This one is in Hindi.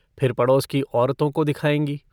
फिर पड़ोस की औरतों को दिखायेंगी।